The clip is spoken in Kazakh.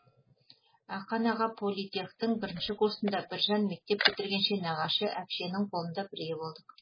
ақан аға политтехтің бірінші курсында біржан мектеп бітіргенше нағашы әпшенің қолында бірге болдық